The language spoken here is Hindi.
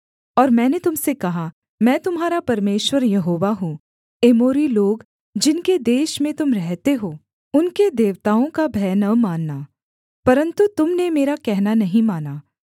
और मैंने तुम से कहा मैं तुम्हारा परमेश्वर यहोवा हूँ एमोरी लोग जिनके देश में तुम रहते हो उनके देवताओं का भय न मानना परन्तु तुम ने मेरा कहना नहीं माना